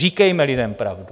Říkejme lidem pravdu.